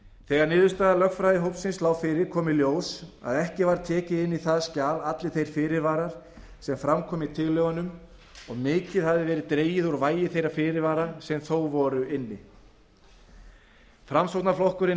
þegar niðurstaða lögfræðingahópsins lá fyrir kom í ljós að ekki var tekið inn í það skjal allir þeir fyrirvarar sem fram komu í tillögunum og mikið hafði verið dregið úr vægi þeirra fyrirvara sem þó voru inni framsóknarflokkurinn